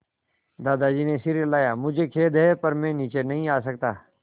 दादाजी ने सिर हिलाया मुझे खेद है पर मैं नीचे नहीं आ सकता